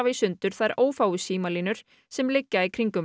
í sundur þær ófáu símalínur sem liggja í kringum